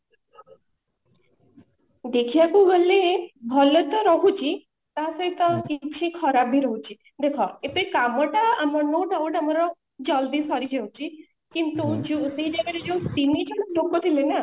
ଦେଖିବାକୁ ଗଲେ ଭଲ ତ ରହୁଛି ତା ସହିତ କିଛି ଖରାପ ବି ରହୁଛି ଦେଖ ଏବେ କାମ ଟା ଆମ ମାନଙ୍କର ଜଲଦି ସରି ଯାଉଛି କିନ୍ତୁ ସେଇ ଜାଗାରେ ଯୋଉ ତିନିଜଣ ଲୋକ ଥିଲେ ନା